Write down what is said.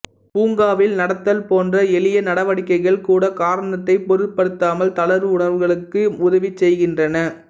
பூங்காவில் நடத்தல் போன்ற எளிய நடவடிக்கைகள் கூட காரணத்தை பொருட்படுத்தாமல் தளர்வு உணர்வுகளுக்கு உதவி செய்கின்றன